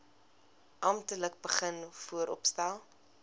amptelik begin vooropstel